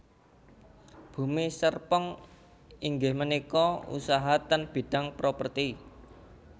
Bumi Serpong inggih menika usaha ten bidang properti